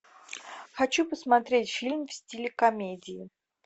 хочу посмотреть фильм в стиле комедии